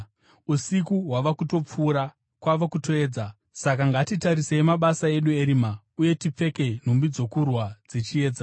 Usiku hwava kutopfuura; kwava kutoedza. Saka ngatirasei mabasa edu erima uye tipfeke nhumbi dzokurwa dzechiedza.